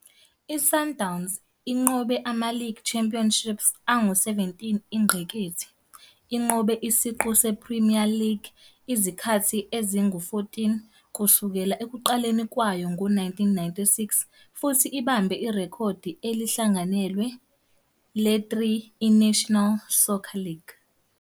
I-Sundowns inqobe ama-League Championships angu-17 ingqikithi, inqobe Isiqu se-Premier League izikhathi ezingu-14 kusukela ekuqaleni kwayo ngo-1996 futhi ibambe irekhodi elihlanganyelwe le-3 I-National Soccer League.